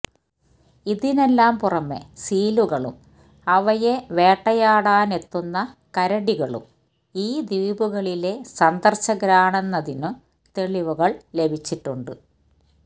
ഇതിനെല്ലാം പുറമെ സീലുകളും അവയെ വേട്ടയാടാനായെത്തുന്ന കരടികളും ഈ ദ്വീപുകളിലെ സന്ദര്ശകരാണെന്നതിനും തെളിവുകള് ലഭിച്ചിട്ടുണ്ട്